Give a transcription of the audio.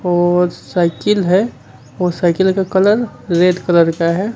और साइकिल है और साइकिल का कलर रेड कलर का है।